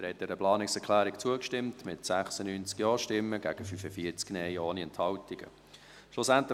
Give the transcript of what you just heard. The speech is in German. Sie haben dieser Planungserklärung mit 96 Ja- gegen 45 Nein-Stimmen ohne Enthaltungen zugestimmt.